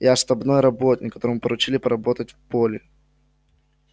я штабной работник которому поручили поработать в поле